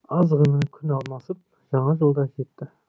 аз ғана күн алмасып жаңа жыл да жетті